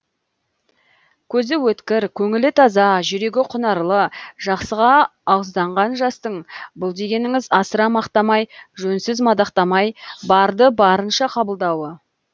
көзі өткір көңілі таза жүрегі құнарлы жақсыға ауызданған жастың бұл дегеніңіз асыра мақтамай жөнсіз мадақтамай барды барынша қабылдауы